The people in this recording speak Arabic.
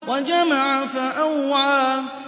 وَجَمَعَ فَأَوْعَىٰ